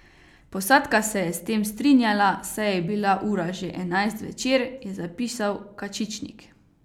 Posadka se je s tem strinjala, saj je bila ura že enajst zvečer, je zapisal Kačičnik.